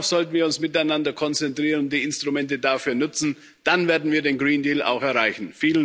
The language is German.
Darauf sollten wir uns miteinander konzentrieren und die Instrumente dafür nutzen. Dann werden wir den Green Deal auch erreichen.